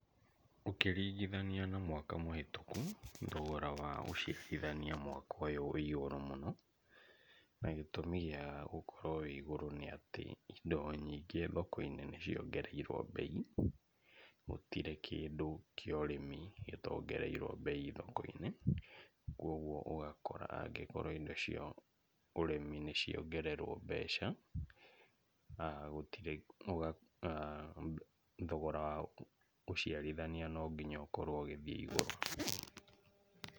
Ũkĩrigithania na mwaka mũhĩtũku, thogora wa ũciarithania mwaka ũyũ wĩ igũrũ mũno, na gĩtũmi gĩa gũkorwo wĩ igũrũ nĩ atĩ indo nyingĩ thoko-inĩ nĩ ciongereirwo mbei, gũtirĩ kĩndũ kĩa ũrĩmi gĩtongereirwo mbei thoko-inĩ, kũgwo ũgakora angĩkorwo indo cia ũrĩmi nĩ ciongererwo mbeca gũtiri ĩ ,ĩ thogora wa ũciarithania no nginya ũkorwo ũgĩthiĩ ĩgũrũ.